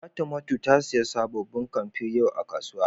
Fatimatu ta siya sabobin kampe yau a kasuwa.